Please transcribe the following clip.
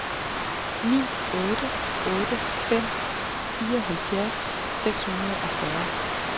ni otte otte fem fireoghalvfjerds seks hundrede og fyrre